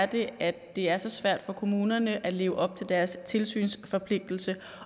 det er at det er så svært for kommunerne at leve op til deres tilsynsforpligtelse